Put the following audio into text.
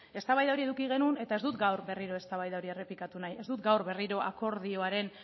eztabaida hori eduki genuen eta ez dut gaur berriro eztabaida hori errepikatu nahi ez dut gaur berriro akordioaren